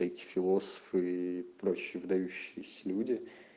эти философы и прочие выдающиеся люди